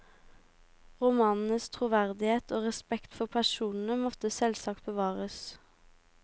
Romanenes troverdighet og respekt for personene måtte selvsagt bevares.